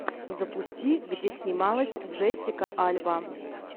запусти где снималась джессика альба